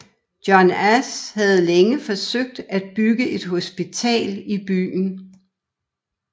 John Ash havde længe forsøgt at bygge et hospital i byen